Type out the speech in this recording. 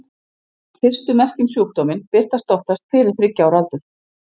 Fyrstu merki um sjúkdóminn birtast oftast fyrir þriggja ára aldur.